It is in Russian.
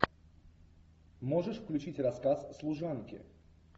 можешь включить рассказ служанки